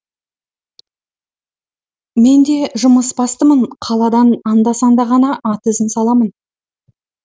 мен де жұмысбастымын қаладан анда санда ғана ат ізін саламын